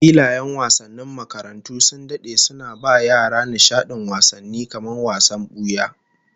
Filayen wasannin makarantu sun dade suna ba yara nishadin wasanni kamar wasan buya